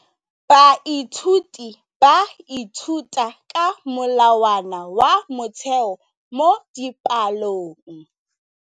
Baithuti ba ithuta ka molawana wa motheo mo dipalong.